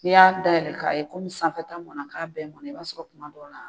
Ni y'a dayɛlɛ ka ye ko sanfɛ ta mɔna ka bɛɛ mɔna, i b'a sɔrɔ kuma dɔ la